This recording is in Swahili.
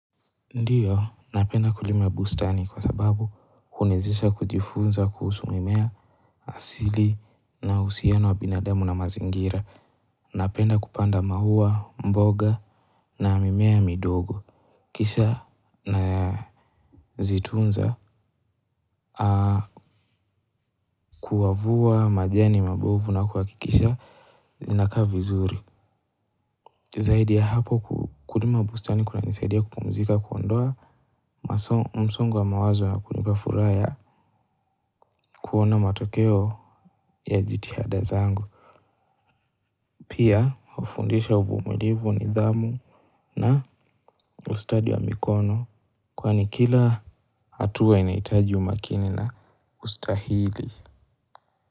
Ndio, napenda kulima bustani kwa sababu huniwezesha kujifunza kuhusu mimea asili na uhusiano wa binadamu na mazingira. Napenda kupanda maua, mboga na mimea midogo. Kisha nazitunza kuyavua majeni mabovu na kuhakikisha zinakaa vizuri. Zaidi ya hapo kulima bustani kunanisaidia kupumzika kuondoa msongo wa mawazo na kunipa furaha ya kuona matokeo ya jitihada zangu. Pia hufundisha uvumilivu, nidhamu na ustadi wa mikono kwani kila hatua inahitaji umakini na ustahili.